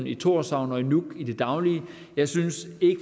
i thorshavn og i nuuk i det daglige jeg synes ikke